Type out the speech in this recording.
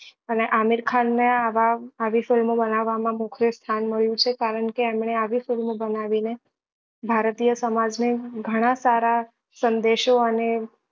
અને આમીર ખાન ને આ મોખરે સ્થાન મળ્યું છે કરણ કે એમને આવી film ઓ બનાવી ને ભારતીય સમાજ ને ગણા સારા સંદેશો અને